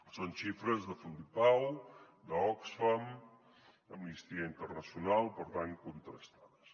són xifres de fundipau d’oxfam d’amnistia internacional per tant contrastades